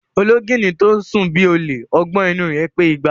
Ológìnní tó sùn bí ọ̀lẹ, ọgbọ́n inú u rẹ̀ pé igba.